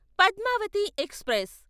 Padmavati express